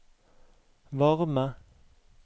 varme